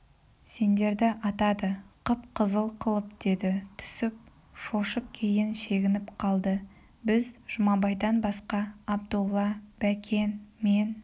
сендерді атады қып-қызыл қылып деді түсіп шошып кейін шегініп қалды біз жұмабайдан басқа абдолла бәкен мен